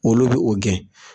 Olu bɛ u gɛn.